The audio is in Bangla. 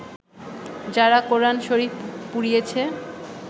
যারা কোরআন শরিফ পুড়িয়েছে